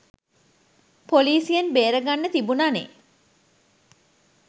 පොලිසියෙන් බේරගන්න තිබුණා නේ?